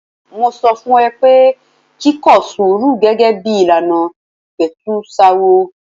Mo sọ fún ọ pé kí kọ sùúrù gẹ́gẹ́ bí ìlànà ìpẹ̀tùsááwọ̀.